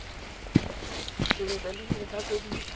sentle le dintlha tse di